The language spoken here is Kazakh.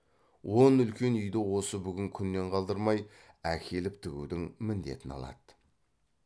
он үлкен үйді осы бүгін күннен қалдырмай әкеліп тігудің міндетін алады